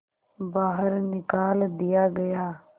बाहर निकाल दिया गया